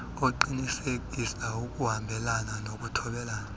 uqinisekisa ukuhambelana nokuthobela